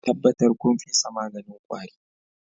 Tabbatar kun fesa maganin kwari